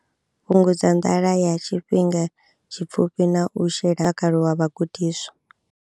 Fhungudza nḓala ya tshifhinga tshipfufhi na u shela kha mutakalo wa vhagudiswa.